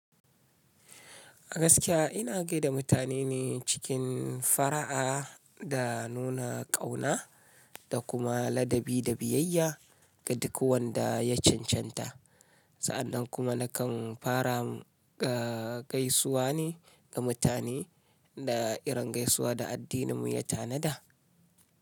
A gaskiya ina gaida mutane ne cikin fara'a da nuna ƙauna da kuma ladabi da biyayya ga duk wanda ya cancanta. Sa'annan kuma nakan fara gaisuwa ne ga mutane da irin gaisuwa da addininmu ya tanada.